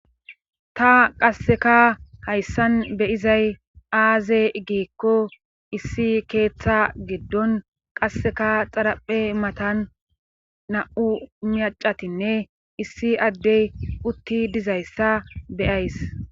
Ta qasseka hayssan beyizay aaze geekko issi keeththa giddon qasseka xaraphe matan na'u miyacatinne issi addey utti dizayssa beyays,